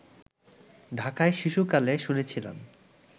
ঢাকায় শিশুকালে শুনেছিলাম